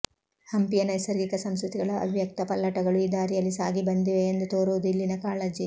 ಹಂಪಿಯ ನೈಸರ್ಗಿಕ ಸಂಸ್ಕೃತಿಗಳ ಅವ್ಯಕ್ತ ಪಲ್ಲಟಗಳು ಈ ದಾರಿಯಲ್ಲಿ ಸಾಗಿ ಬಂದಿವೆ ಎಂದು ತೋರುವುದು ಇಲ್ಲಿನ ಕಾಳಜಿ